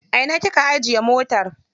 A ina kika ajiye motar?